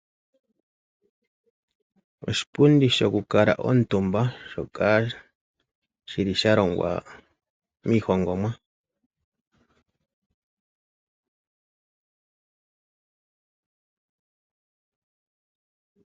Oshipundi sho ku kala omutumba, shoka shili shalongwa miihongomwa.